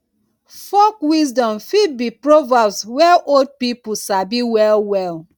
folk wisdom fit be proverbs wey old pipo sabi well well